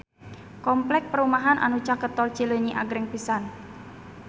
Kompleks perumahan anu caket Tol Cileunyi agreng pisan